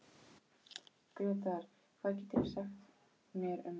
Gretar, hvað geturðu sagt mér um veðrið?